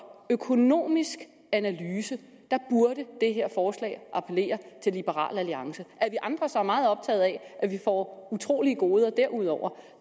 økonomisk analyse burde det her forslag appellere til liberal alliance at vi andre så er meget optaget af at vi får utrolige goder derudover